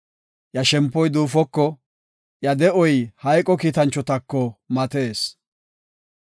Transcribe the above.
Iya shempoy duufoko, iya de7oy hayqo kiitanchotako matees.